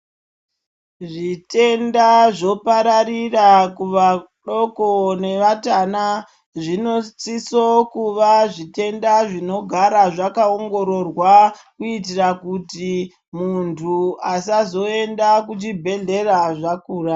Zvitenda zvopararira kuvadoko nevatana. Zvinosiso kuva zvitenda zvinogara zvakawongororwa kuyitira kuti muntu asazoyenda kuchibhedhlera zvakura.